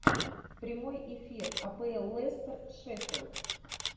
прямой эфир апл лестер шеффилд